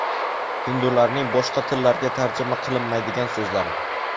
Hindularning boshqa tillarga tarjima qilinmaydigan so‘zlari.